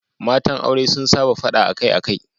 Matan aure sun saba fada akai-akai.